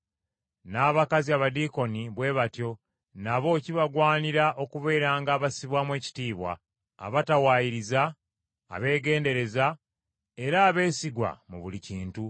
N’abakazi Abadiikoni bwe batyo nabo kibagwanidde okubeeranga abassibwamu ekitiibwa, abatawaayiriza, abeegendereza, era abeesigwa mu buli kintu.